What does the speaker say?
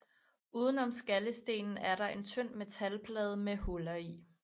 Uden om skallestenen er der en tynd metalplade med huller i